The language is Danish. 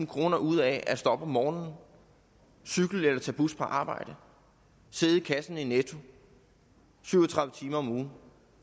kroner ud af at stå op om morgenen cykle eller tage bus på arbejde sidde i kassen i netto syv og tredive timer om ugen